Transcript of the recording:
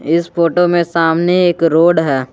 इस फोटो में सामने एक रोड है।